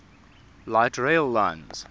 light rail lines